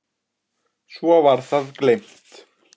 Svo var það gleymt.